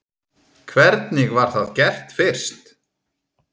Hvernig var það gert fyrst?